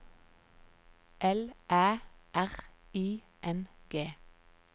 L Æ R I N G